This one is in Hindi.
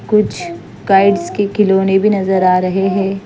कुछ काइट्स के खिलौने भी नजर आ रहे हैं।